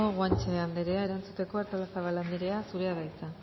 guanche anderea erantzuteko artolazabal anderea zurea da hitza